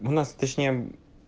у нас точнее